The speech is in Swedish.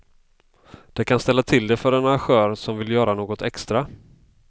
Det kan ställa till det för en arrangör som vill gör något extra.